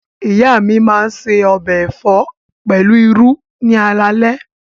Ìyá mi máa se ọbẹ̀ ẹ̀fọ́ pẹ̀lú irú ni alaalẹ́.